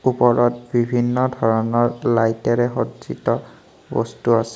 ওপৰত বিভিন্ন ধৰণৰ লাইটেৰে সজ্জিত বস্তু আছে।